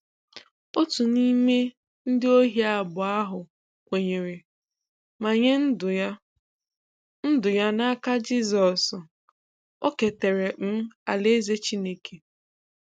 Otu n’ime ndị ohi abụọ ahụ kwenyere, ma nye ndụ ya ndụ ya n’aka Jisọs; o ketere um alaeze Chineke.